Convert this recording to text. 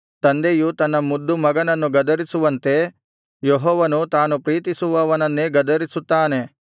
ತಂದೆಯು ತನ್ನ ಮುದ್ದುಮಗನನ್ನು ಗದರಿಸುವಂತೆ ಯೆಹೋವನು ತಾನು ಪ್ರೀತಿಸುವವನನ್ನೇ ಗದರಿಸುತ್ತಾನೆ